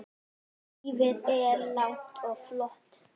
Lífið er langt og flókið.